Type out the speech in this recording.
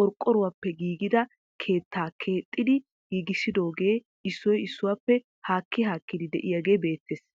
qorqqoruwappe giigida keettaa keexxidi giigissidooge issoy issuwappe haakki haakki de'iyaage beettees.